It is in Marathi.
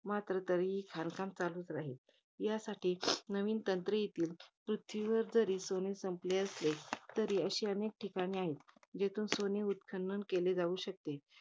मात्र तरीही खाणकाम चालू राहील. राहील यासाठी नवीन तंत्रे येतील. पृथ्वीवर जरी सोने संपले तरी, अशी अनेक ठिकाणे आहेत. ज्यातून सोने उत्खनन केले जाऊ शकते.